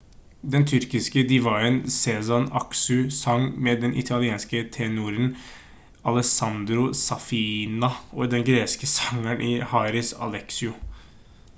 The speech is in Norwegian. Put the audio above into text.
den tyrkiske divaen sezen aksu sang med den italienske tenoren alessandro saffina og den greske sangeren haris alexou